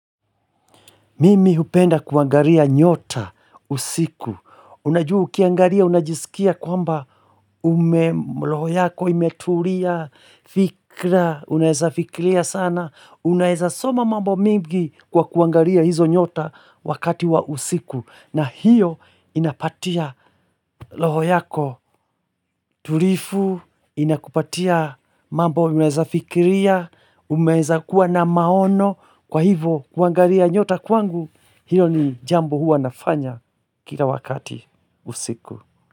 Mimi hupenda kuangalia nyota usiku. Unajua ukiangalia, unajisikia kwamba ume, roho yako imetulia, fikra, unaeza fikiria sana. Unaeza soma mambo mingi kwa kuangaria hizo nyota wakati wa usiku. Na hiyo inapatia roho yako tulivu, inakupatia mambo unaeza fikiria, unaeza kuwa na maono. Kwa hivo, kuangalia nyota kwangu, hilo ni jambo huwa nafanya kila wakati usiku.